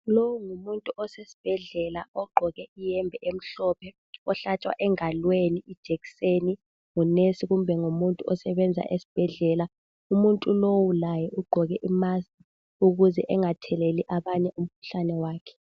Lowu ngumuntu osesibhedlela ogqoke iyembe emhlophe ohlatshwa engalweni ijekiseni ngumongikazi kumbe ngumuntu osebenza esibhedlela umuntu lowu laye ugqoke imusk ukuze engatheleli abanye umkhuhlane wakhe.